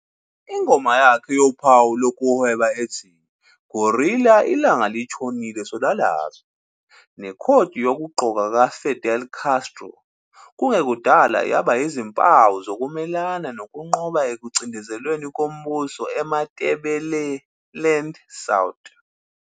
Ingoma yakhe yophawu lokuhweba ethi 'Guerilla ilanga litshonile solalaphi' nekhodi yokugqoka kaFidel Castro kungekudala yaba yizimpawu zokumelana nokunqoba ekucindezelweni kombuso eMatebeleland South.